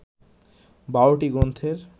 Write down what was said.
১২টি গ্রন্থের